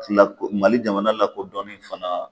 Lako mali jamana lakodɔnni fana